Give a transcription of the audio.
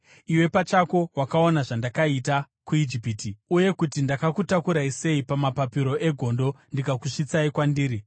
‘Iwe pachako wakaona zvandakaita kuIjipiti, uye kuti ndakakutakurai sei pamapapiro egondo ndikakusvitsai kwandiri.